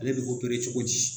Ale be opere cogo di